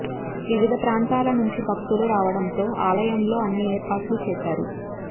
వివిధ ప్రాంతాల నుంచి భక్తులు రావడంతో ఆలయంలో అన్ని ఏర్పాట్లు చేశారు